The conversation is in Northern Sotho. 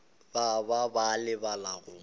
ba ba ba lebala go